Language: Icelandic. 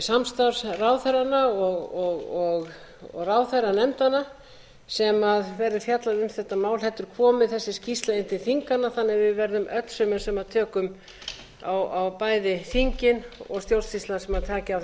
samstarfsráðherranna og ráðherranefndanna sem verður fjallað um þetta mál þetta er komið þessi skýrsla inn til þinganna þannig að við verðum öll sömul sem tökum á bæði inn og stjórnsýslan sem taki á þessum málum með leyfi hæstvirts forseta vil